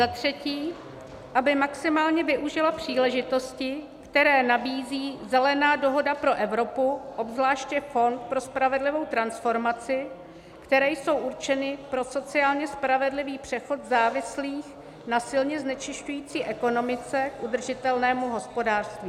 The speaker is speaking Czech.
"Za třetí, aby maximálně využila příležitosti, které nabízí Zelená dohoda pro Evropu, obzvláště Fond pro spravedlivou transformaci, které jsou určeny pro sociálně spravedlivý přechod závislých na silně znečišťující ekonomice k udržitelnému hospodářství;"